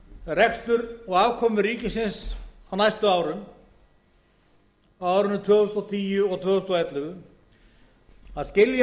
rekstur og afkomu ríkisins á næstu árum á árunum tvö þúsund og tíu og tvö þúsund og ellefu að skilja